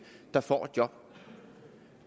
der får et job